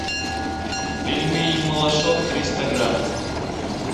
пельмени малышок триста грамм